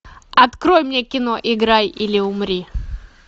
открой мне кино играй или умри